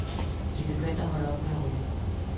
De er begyndt at holde op med at ryge.